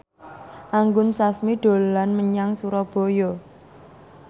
Anggun Sasmi dolan menyang Surabaya